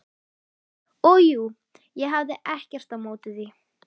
Og jú, ég hafði ekkert á móti því.